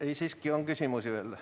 Ei, siiski on küsimusi veel.